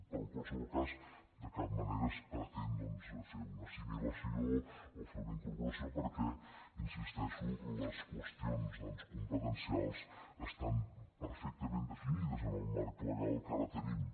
però en qualsevol cas de cap manera es pretén doncs fer una assimilació o fer una incorporació perquè hi insisteixo les qüestions competencials estan perfectament definides en el marc legal que ara tenim